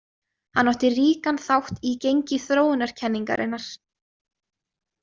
Hann átti ríkan þátt í gengi þróunarkenningarinnar.